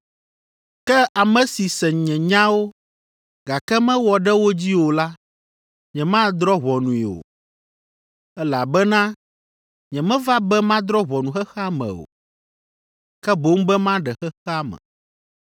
“Ke ame si se nye nyawo, gake mewɔ ɖe wo dzi o la, nyemadrɔ̃ ʋɔnui o. Elabena nyemeva be madrɔ̃ ʋɔnu xexea me o, ke boŋ be maɖe xexea me.